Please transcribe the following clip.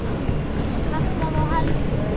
Kallaði á Helgu.